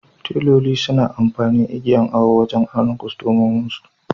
Teloli suna amfani igiyan awo wajan auna kwastomominsu